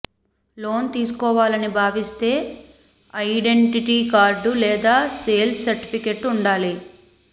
loan తీసుకోవాలని భావిస్తే identity card లేదా సేల్స్ సర్టిఫికెట్ ఉండాలి